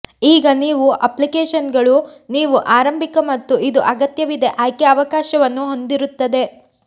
ಈಗ ನೀವು ಅಪ್ಲಿಕೇಶನ್ಗಳು ನೀವು ಆರಂಭಿಕ ಮತ್ತು ಇದು ಅಗತ್ಯವಿದೆ ಆಯ್ಕೆ ಅವಕಾಶವನ್ನು ಹೊಂದಿರುತ್ತದೆ